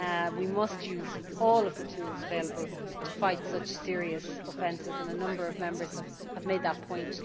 We must use all of the tools available to fight such serious offences, and a number of Members have made that point.